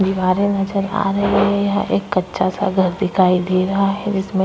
दीवारें नजर आ रही है। एक कच्चा स घर दिखाई दे रहा है जिसमें --